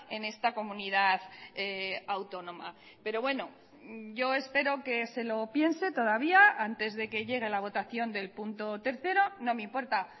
en esta comunidad autónoma pero bueno yo espero que se lo piense todavía antes de que llegue la votación del punto tercero no me importa